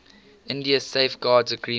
india safeguards agreement